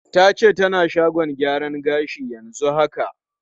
Ta ce tana shagon gyaran gashi yanzu haka.